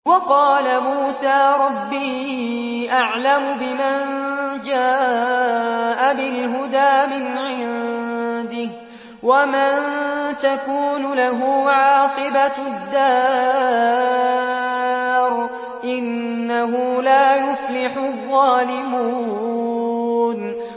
وَقَالَ مُوسَىٰ رَبِّي أَعْلَمُ بِمَن جَاءَ بِالْهُدَىٰ مِنْ عِندِهِ وَمَن تَكُونُ لَهُ عَاقِبَةُ الدَّارِ ۖ إِنَّهُ لَا يُفْلِحُ الظَّالِمُونَ